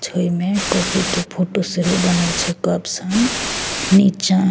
छय में कॉफ़ी के फोटो सेहो बनल छे कप सन निचा --